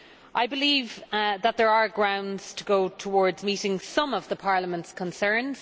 I believe that there are grounds to go towards meeting some of Parliament's concerns